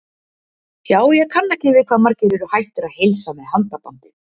Já, ég kann ekki við hvað margir eru hættir að heilsa með handabandi.